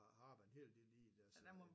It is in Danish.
Har arbejdet en helt del i det og så